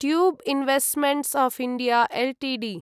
tube investments of India Ltd